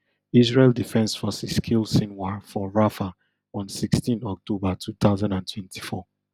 israel defence forces kill sinwar for rafah one sixteen october two thousand and twenty-four